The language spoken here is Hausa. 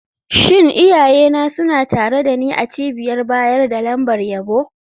Shin iyayena suna tare da ni a cibiyar bayar da lambar yabo?